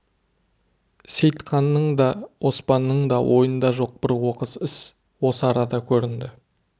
сейтқанның да оспанның да ойында жоқ бір оқыс іс осы арада көрінді